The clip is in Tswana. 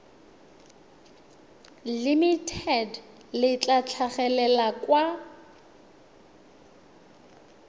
limited le tla tlhagelela kwa